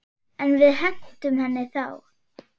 En við hentum henni þá.